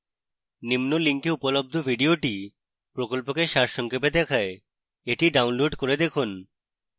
নিম্ন link উপলব্ধ video প্রকল্পকে সারসংক্ষেপে দেখায়